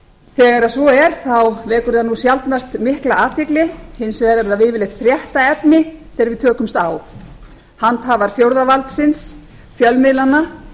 þegar svo er vekur það sjaldnast mikla athygli hins vegar er það yfirleitt fréttaefni þegar við tökumst á handhafar fjórða valdsins fjölmiðlanna